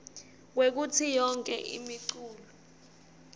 kwekutsi yonkhe imiculu